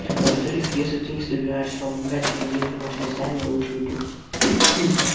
во-вторых если ты не собираешься помогать мне делать домашнее задание я лучше уйду